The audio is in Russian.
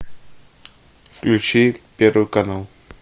включи первый канал